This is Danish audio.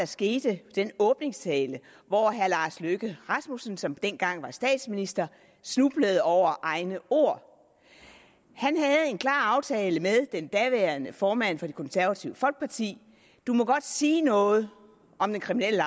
skete i den åbningstale hvor herre lars løkke rasmussen som dengang var statsminister snublede over egne ord han havde en klar aftale med den daværende formand for det konservative folkeparti du må godt sige noget om den kriminelle